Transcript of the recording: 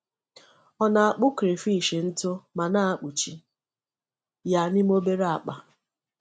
Ọ na-akpụ crayfish ntụ ma na-akpuchi ya n’ime obere akpa.